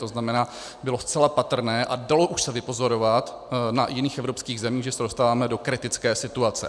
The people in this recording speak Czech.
To znamená, bylo zcela patrné a dalo se už vypozorovat na jiných evropských zemích, že se dostáváme do kritické situace.